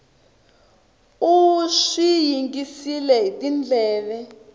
u swi yingisile hi tindleve